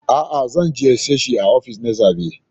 A'a, zan ziyarce shi a ofishinsa na zaɓe